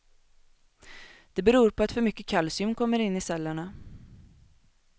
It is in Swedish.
Det beror på att för mycket kalcium kommer in i cellerna.